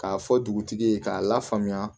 K'a fɔ dugutigi ye k'a lafaamuya